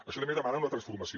això també demana una transformació